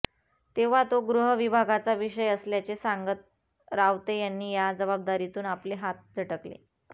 तेव्हा तो गृहविभागाचा विषय असल्याचे सांगत रावते यांनी या जबाबदारीतून आपले हात झटकले